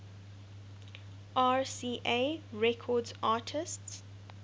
rca records artists